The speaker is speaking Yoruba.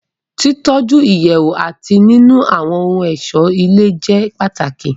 Títọ́ju Ìyẹ̀wù àti nínu àwọ́n ohun ọ̀ṣó ilé jẹ́ pàtàkì